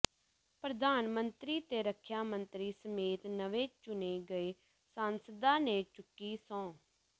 ਪ੍ਰਧਾਨ ਮੰਤਰੀ ਤੇ ਰੱਖਿਆ ਮੰਤਰੀ ਸਮੇਤ ਨਵੇਂ ਚੁਣੇ ਗਏ ਸਾਂਸਦਾਂ ਨੇ ਚੁੱਕੀ ਸਹੁੰ